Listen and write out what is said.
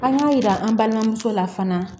An y'a jira an balimamuso la fana